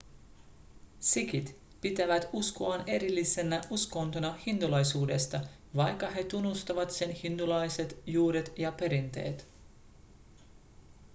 sikhit pitävät uskoaan erillisenä uskontona hindulaisuudesta vaikka he tunnustavat sen hindulaiset juuret ja perinteet